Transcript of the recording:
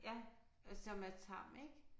Ja og som er tam ik